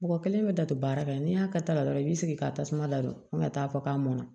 Mɔgɔ kelen bɛ dataa baara kɛ n'i y'a kɛ ta la dɔrɔn i bɛ sigi ka tasuma ladon fo ka taa fɔ k'a mɔnna